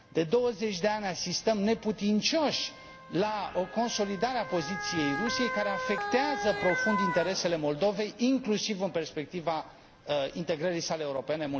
De douăzeci de ani asistăm neputincioși la o consolidare a poziției Rusiei, care afectează profund interesele Moldovei, inclusiv în perspectiva integrării sale europene.